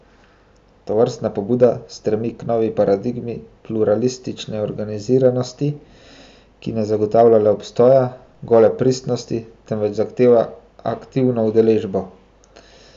Tovrstna pobuda stremi k novi paradigmi pluralistične organiziranosti, ki ne zagotavlja le obstoja, gole prisotnosti, temveč zahteva aktivno udeležbo.